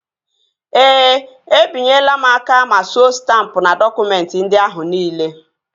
Ee, e binyela m aka ma suo stampụ n'dọkụmentị ndị ahụ niile